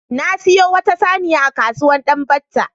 Na sayi wata saniya a kasuwar Danbatta.